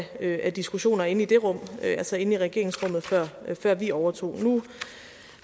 af diskussioner inde i det rum altså inde i regeringsrummet før vi overtog nu